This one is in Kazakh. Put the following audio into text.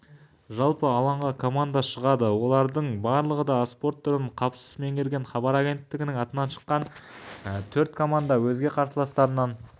жалпы алаңға команда шығады олардың барлығы да осы спорт түрін қапысыз меңгерген хабар агенттігінің атынан шыққан төрт команда да өзге қарсыластарынан